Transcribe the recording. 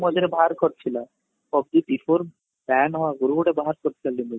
PUBG before ban ହବା ଆଗରୁ ଗୋଟେ ବାହାର କରିଥିଲା limit